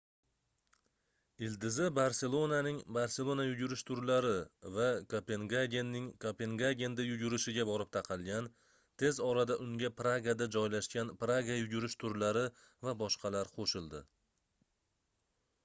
ildizi barselonaning barselona yugurish turlari va kopengagenning kopengagenda yugurish iga borib taqalgan tez orada unga pragada joylashgan praga yugurish turlari va boshqalar qoʻshildi